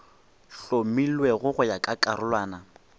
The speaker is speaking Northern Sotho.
hlomilwego go ya ka karolwana